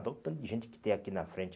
Olha o tanto de gente que tem aqui na frente.